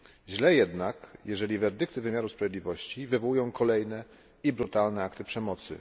Źle jednak, jeżeli werdykty wymiaru sprawiedliwości wywołują kolejne i brutalne akty przemocy.